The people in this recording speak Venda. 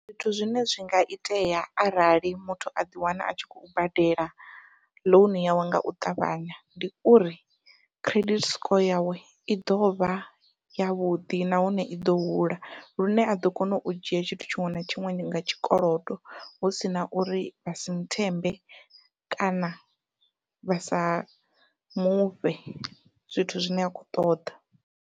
Zwithu zwine zwi nga itea arali muthu a ḓiwana a tshi khou badela ḽounu yawe ngau ṱavhanya, ndi uri credit score yawe i ḓovha yavhuḓi nahone iḓo hula, lune a ḓo kona u dzhia tshithu tshiṅwe na tshiṅwe nga tshikolodo hu sina uri vha si nthembe kana vha sa mufhe zwithu zwine a khou ṱoḓa.